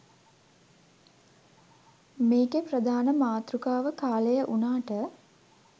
මේකෙ ප්‍රධාන මතෘකාව කාලය වුනාට